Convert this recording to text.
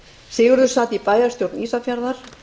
sigurður sat í bæjarstjórn ísafjarðar